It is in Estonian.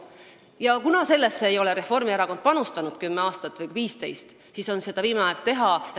Reformierakond sellesse 10 või 15 aastat ei panustanud ja nüüd on seda viimane aeg teha.